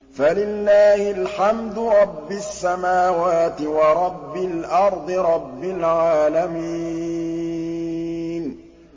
فَلِلَّهِ الْحَمْدُ رَبِّ السَّمَاوَاتِ وَرَبِّ الْأَرْضِ رَبِّ الْعَالَمِينَ